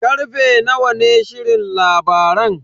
Karfe nawa ne shirin labaran?